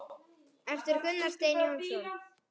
eftir Gunnar Stein Jónsson